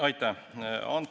Aitäh!